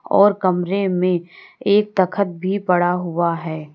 और कमरे में एक तख्द पड़ा हुआ है।